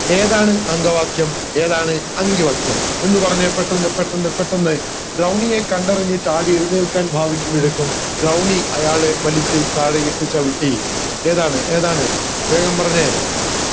ഏതാണ് അങ്കവാക്യം ഏതാണ് അങ്കിവാക്യം എന്ന് പറഞ്ഞെ പെട്ടന്ന് പെട്ടന്ന് പെട്ടന്ന് ദ്രൗണിയെ കണ്ടറിഞ്ഞു ചാടി എഴുന്നേൽക്കാൻ ഭവിക്കുമ്പോഴേക്കും ദ്രൗണി അയാളെ വലിച്ചു താഴെ ഇട്ട് ചവിട്ടി ഏതാണ് ഏതാണ് വേഗം പറഞ്ഞെ